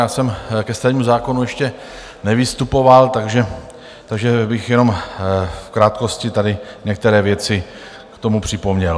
Já jsem ke stavebnímu zákonu ještě nevystupoval, takže bych jenom v krátkosti tady některé věci k tomu připomněl.